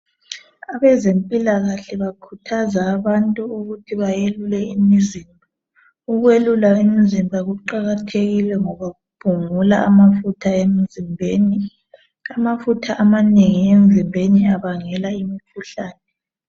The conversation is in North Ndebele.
Abezempilakahle bakhuthaza abantu ukuthi bayelule, ukwelula imizimba kuqakathekile ngoba kuphungula amafutha emzimbeni. Amafutha amanengi emzimbeni abangela imikhuhlane.